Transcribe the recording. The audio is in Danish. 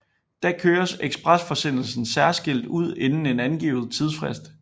Da køres ekspresforsendelsen særskilt ud inden en angivet tidsfrist